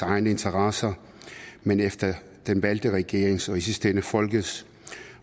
egne interesser men efter den valgte regerings og i den sidste ende folkets